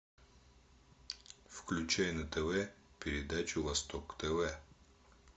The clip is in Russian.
включай на тв передачу восток тв